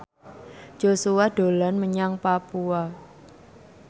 Joshua dolan menyang Papua